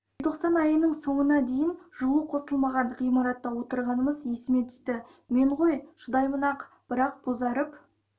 желтоқсан айының соңына дейін жылу қосылмаған ғимаратта отырғанымыз есіме түсті мен ғой шыдаймын-ақ бірақ бозарып